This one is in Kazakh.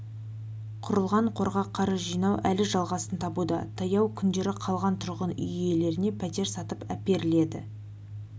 құрылған қорға қаржы жинау әлі жалғасын табуда таяу күндері қалған тұрғын үй иелеріне пәтер сатып әперіледі